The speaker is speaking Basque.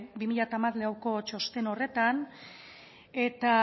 bi mila hamalauko txosten horretan